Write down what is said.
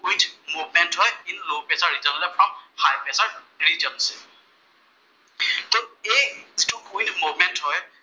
window movement হয়, with low pressure ৰিজনৰ পৰা হাইপ্ৰেচাৰ ৰিজনলৈ